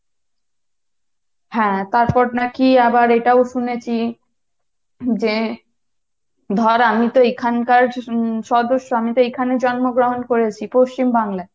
হ্যাঁ তারপর নাকি আবার এটাও শুনেছি , যে ধর আমিতো এখানকার হম সব আমি তো এখানে জন্ম গ্রহণ করেছি পশ্চিমবাংলায়।